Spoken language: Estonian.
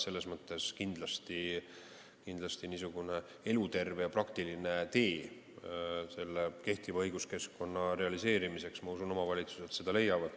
Ma usun, et kindlasti leiavad omavalitsused eluterve ja praktilise tee kehtiva õiguskeskkonna realiseerimiseks.